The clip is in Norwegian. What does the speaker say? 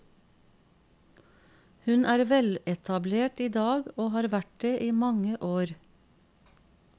Hun er veletablert idag, og har vært det i mange år.